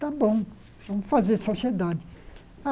Tá bom, vamos fazer sociedade.